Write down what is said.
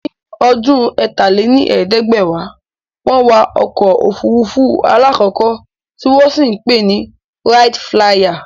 Ní ọdún ẹ̀ta lé ní ẹ̀ẹ́dẹ́gbẹ́wá, wọn wa Ọkọ̀ ofurufu alakọkọ ti wọn sì pè é ni "Wright Flyer"